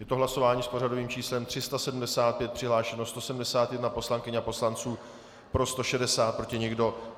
Je to hlasování s pořadovým číslem 375, přihlášeno 171 poslankyň a poslanců, pro 160, proti nikdo.